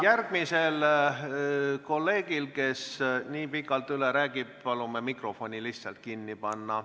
Järgmisel kolleegil, kes nii pikalt üle räägib, palume mikrofoni lihtsalt kinni panna.